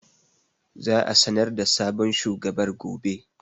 Aa a sanar da sabon shugabar gobe